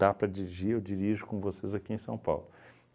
para dirigir, eu dirijo com vocês aqui em São Paulo.